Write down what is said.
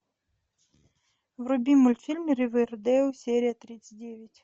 вруби мультфильм ривердейл серия тридцать девять